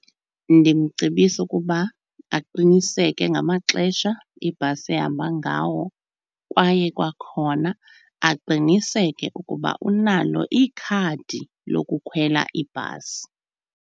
Ndimcebisa ukuba aqiniseke ngamaxesha ibhasi ehamba ngawo kwaye kwakhona aqiniseke ukuba unalo ikhadi lokukhwela ibhasi.